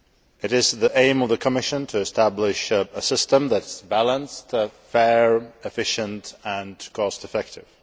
It is the aim of the Commission to establish a system that is balanced, fair, efficient and cost effective.